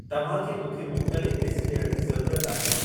तव्हां खे मूंखे मुख़्तलिफ़ ॾिस ॾियण जी ज़रूरत आहे